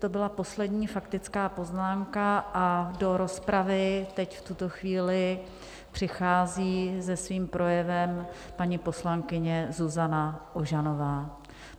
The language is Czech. To byla poslední faktická poznámka a do rozpravy teď v tuto chvíli přichází se svým projevem paní poslankyně Zuzana Ožanová.